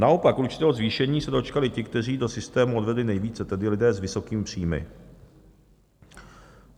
Naopak určitého zvýšení se dočkali ti, kteří do systému odvedli nejvíce, tedy lidé s vysokými příjmy.